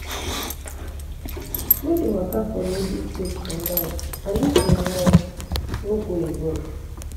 No de waka for lonely place for night and if you must, no go alone